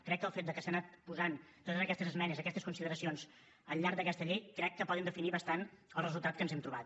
crec que el fet de que s’han anat posant totes aquestes esmenes aquestes consideracions al llarg d’aquesta llei crec que pot definir bastant el resultat que ens hem trobat